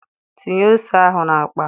Tinye ose ahụ n'akpa!